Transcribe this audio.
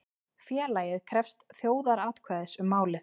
Félagið krefst þjóðaratkvæðis um málið